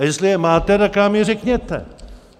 A jestli je máte, tak nám je řekněte.